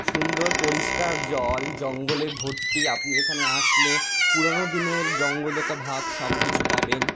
সুন্দর পরিষ্কার জল জঙ্গলে ভর্তি। আপনি এইখানে আসলে পুরানো দিনের জঙ্গলতা ভাব সবকিছু পাবেন।